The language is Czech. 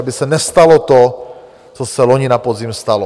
Aby se nestalo to, co se loni na podzim stalo.